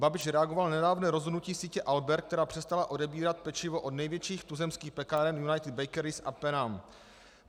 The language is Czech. Babiš reagoval na nedávné rozhodnutí sítě Albert, která přestala odebírat pečivo od největších tuzemských pekáren United Bakeries a Penam.